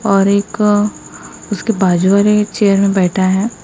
और एक अ उसके बाजू वाले चेयर में बैठा है।